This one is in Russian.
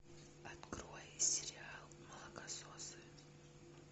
открой сериал молокососы